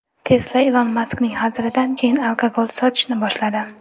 Tesla Ilon Maskning hazilidan keyin alkogol sotishni boshladi.